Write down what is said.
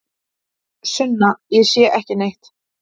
Sunna: Ég sé ekki neitt.